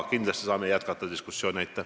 Kindlasti saame me diskussiooni jätkata.